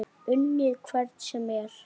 Unnið hvern sem er?